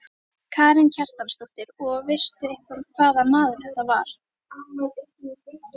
Karen Kjartansdóttir: Og veistu eitthvað hvaða maður þetta var?